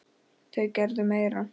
Þau gerðu meira.